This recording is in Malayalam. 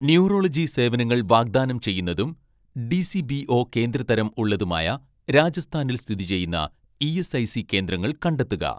ന്യൂറോളജി സേവനങ്ങൾ വാഗ്‌ദാനം ചെയ്യുന്നതും ഡി.സി.ബി.ഒ കേന്ദ്ര തരം ഉള്ളതുമായ രാജസ്ഥാനിൽ സ്ഥിതി ചെയ്യുന്ന ഇ.എസ്.ഐ.സി കേന്ദ്രങ്ങൾ കണ്ടെത്തുക.